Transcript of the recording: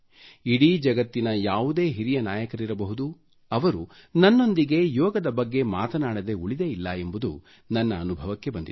ಇಡೀ ಜಗತ್ತಿನ ಯಾವುದೇ ಹಿರಿಯ ನಾಯಕರಿರಬಹುದು ಅವರು ನನ್ನೊಂದಿಗೆ ಯೋಗದ ಬಗ್ಗೆ ಮಾತನಾಡದೆ ಉಳಿದೇ ಇಲ್ಲ ಎಂಬುದು ನನ್ನ ಅನುಭವಕ್ಕೆ ಬಂದಿದೆ